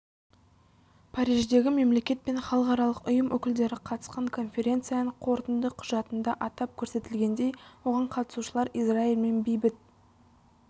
париждегі мемлекет пен халықаралық ұйым өкілдері қатысқан конференцияның қорытынды құжатында атап көрсетілгендей оған қатысушылар израильмен бейбіт